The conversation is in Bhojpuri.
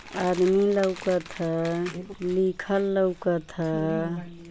आदमी लउकत ह। लिखल लउकत ह।